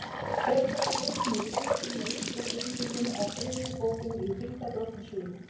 Hver er þessi Hilmir í titlinum á íslensku þýðingunni á þriðju bókinni í Hringadróttinssögu?